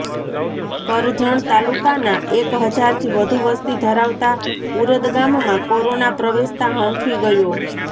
કરજણ તાલુકાના એક હજારથી વધુ વસતિ ધરાવતા ઉરદ ગામમાં કોરોના પ્રવેશતા હાંફી ગયો